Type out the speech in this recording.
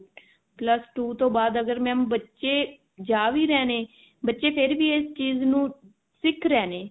plus two ਤੋਂ ਬਾਅਦ ਅਗਰ mam ਬੱਚੇ ਜਾ ਵੀ ਰਹੇ ਨੇ ਬੱਚੇ ਫ਼ੇਰ ਵੀ ਇਸ ਚੀਜ਼ ਨੂੰ ਸਿੱਖ ਰਹੇ ਨੇ